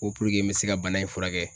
Ko puruke n bɛ se ka bana in furakɛ.